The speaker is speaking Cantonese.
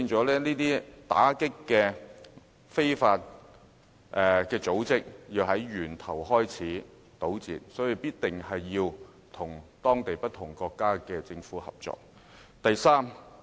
故此，打擊工作要從源頭做起，我們一定要與不同國家的政府合作。